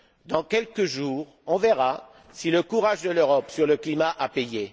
Dans quelques jours, on verra si le courage de l'Europe sur le climat a payé.